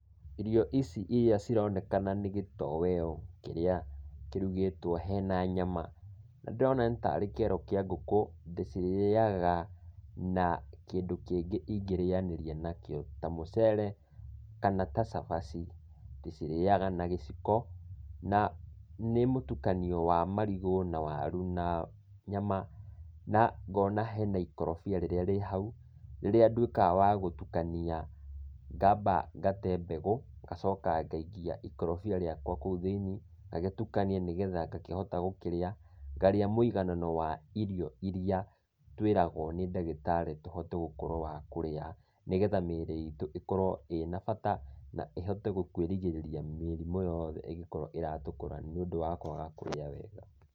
Irio ici iria cironekana nĩ gĩtoweo kĩrĩa kĩrugĩtwo hena nyama, na ndĩrona nĩta aarĩ kĩero kĩa ngũkũ, ndĩcirĩaga na kĩndũ kĩngĩ ingĩrĩanĩria nakĩo, ta mũcere kana ta cabaci. Ndĩcirĩaga na gĩciko, na nĩ mũtukanio wa marigũ, na waru na nyama, na ngona hena ikorobia rĩrĩa rĩhau, rĩrĩa nduĩkaga wa gũtukania, ngamba ngate mbegũ, ngacoka ngaikia ikorobia rĩakwa kũu thĩini, ngagĩtukania nĩgetha ngakĩhota gũkĩrĩa. Ngarĩa mũiganano wa irio iria tũĩragwo nĩ ndagĩtarĩ tũhote gũkorwa wa kũrĩa, nĩgetha mĩĩrĩ itũ ikorwo ĩna bata, na ĩhote kũĩrigĩrĩria mĩrimũ yothe ingĩkorwo iratũkora nĩũndũ wa kũaga kũrĩa wega.